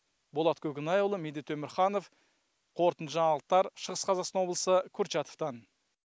болат көкенайұлы медет өмірханов қорытынды жаңалықтар шығыс қазақстан облысы курчатовтан